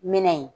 Minɛ in